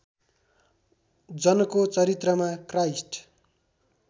जनको चरित्रमा क्राइस्ट